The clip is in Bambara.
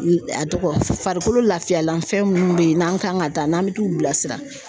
A tɔgɔ farikolo lafiyalanfɛn munnu bɛ yen n'an kan ka taa n'an bɛ t'u bilasira.